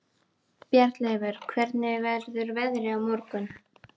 Bjarnleifur, hvernig verður veðrið á morgun?